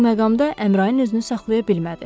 Bu məqamda Əmrain özünü saxlaya bilmədi.